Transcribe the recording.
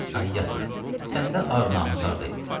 Ay yazıq, səndə ar namus hardaydı?